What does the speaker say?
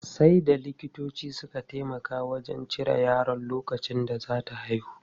Sai da likitoci suka taimaka wajen cire yaron lokacin da za ta haihu.